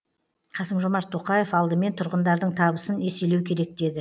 қасым жомарт тоқаев алдымен тұрғындардың табысын еселеу керек деді